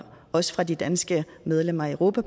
også fra de danske medlemmer af europa